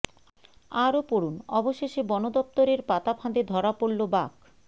আরও পড়ুন অবশেষে বনদফতরের পাতা ফাঁদে ধরা পড়ল বাঘ